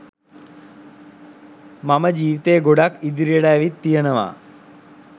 මම ජීවිතේ ගොඩක් ඉදිරියට ඇවිත් තියෙනවා.